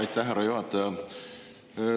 Aitäh, härra juhataja!